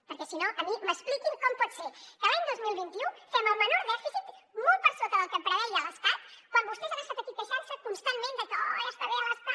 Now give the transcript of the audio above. perquè si no a mi m’expliquin com pot ser que l’any dos mil vint u fem el menor dèficit molt per sota del que preveia l’estat quan vostès han estat aquí queixant se constantment de que oh ja està bé l’estat